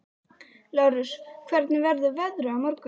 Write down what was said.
Lárus, hvernig verður veðrið á morgun?